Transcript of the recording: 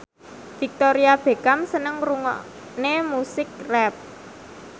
Victoria Beckham seneng ngrungokne musik rap